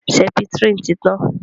sẹpítirínì tí tán.